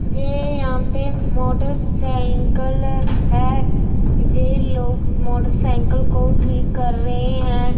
ये यहां पे मोटरसाइकल है ये लोग मोटरसाइकल को ठीक कर रहे हैं।